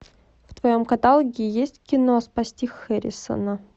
в твоем каталоге есть кино спасти хэррисона